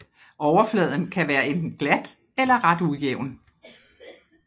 Overfladen kan være enten glat eller ret ujævn